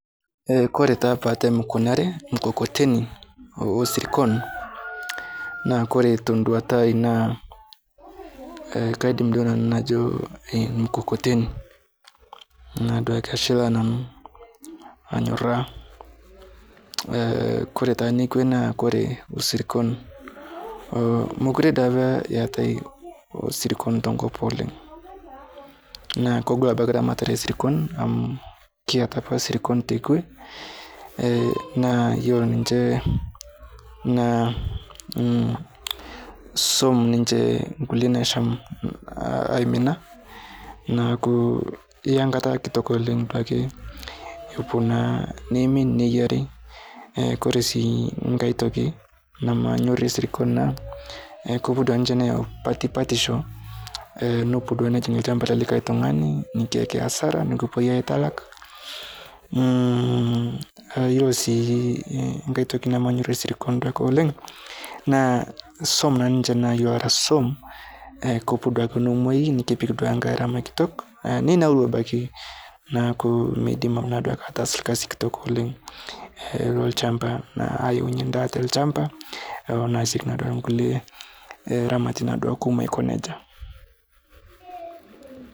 Eh kore taa paatem kuna are mkokoteni osirkon naa kore tenduata ai naa kaidim duo nanu najo emkokoteni naaduake ashilaa nanu anyoraa. Eh kore taa nekwe naa kore osirkon, mokure dei apa eatae osirkon tenkop oleng' naa kogol abaki ramaratae esirkon amu kiata apa sirkon tekwe, eh na yuolo ninche naa mmh swom ninche nkule naasham aimina naaku iyia nkata kitok oleng' duake epuo naa neimin neiyiari eh kore sii nkae toki namanyore sirkon naa kepuo duake ninche neyau patipatisho eh nepuo duake nejing' lchamba lelikae tung'ani nikiayaki asara nikipoi aitalak mmh aiyuolo sii kaitoki namanyorie sirikon oleng' naa swom naa ninche naa yuolo ara swom kepuo duake nemwai nikipik duake ngarama kitok neinaru abaki naaku meidim naa duake ataasa lkasi kitok oleng eh lolchamba naa ayaunye daa te lchamba oneaseki naa duake nkule eh ramati duake kumo aikoneja.